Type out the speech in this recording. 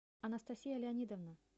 анастасия леонидовна